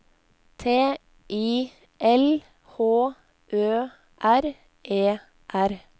T I L H Ø R E R